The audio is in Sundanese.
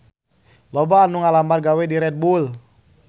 Loba anu ngalamar gawe ka Red Bull